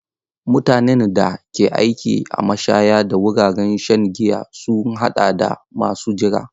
Mutanen da ke aiki a mashaya da wuraren shan giya sun haɗa da masu jira.